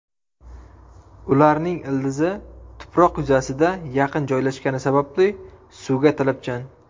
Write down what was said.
Ularning ildizi tuproq yuzasiga yaqin joylashgani sababli suvga talabchan.